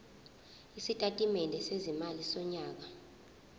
isitatimende sezimali sonyaka